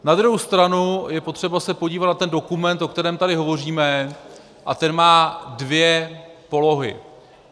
Na druhou stranu je potřeba se podívat na ten dokument, o kterém tady hovoříme, a ten má dvě polohy.